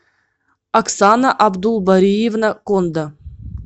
оксана абдулбариевна конда